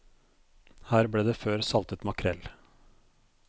Her ble det før saltet makrell.